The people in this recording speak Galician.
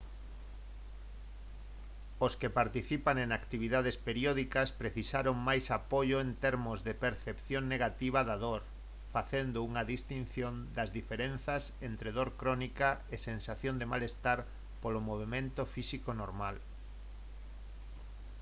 os que participan en actividades periódicas precisaron máis apoio en termos de percepción negativa da dor facendo unha distinción das diferenzas entre dor crónica e sensación de malestar polo movemento físico normal